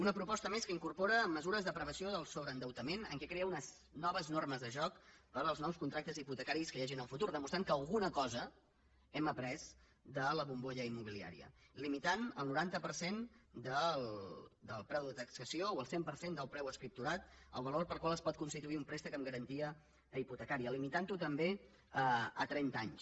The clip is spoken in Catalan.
una proposta més que incorpora mesures de prevenció del sobreendeutament en què es creen unes noves normes de joc per als nous contractes hipotecaris que hi hagi en el futur demostrant que alguna cosa hem après de la bombolla immobiliària limitant el noranta per cent del preu de taxació o el cent per cent del preu escripturat el valor pel qual es pot constituir un préstec amb garantia hipotecària limitant ho també a trenta anys